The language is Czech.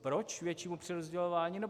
Proč většímu přerozdělování?